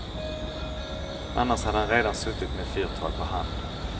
Annars hade han redan suttit med fyrtal på hand.